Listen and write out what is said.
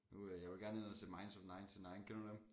Nu øh jeg vil gerne ind og se minds of ninety-nine kender du dem